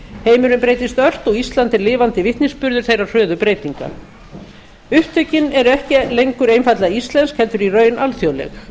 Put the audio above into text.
heimurinn breytist ört og ísland er lifandi vitnisburður þeirra hröðu breytinga upptökin eru ekki lengur einfaldlega íslensk heldur í raun alþjóðleg